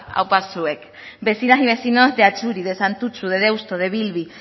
aupa zuek vecinas y vecinos de atxuri de santutxu de deusto de bilbi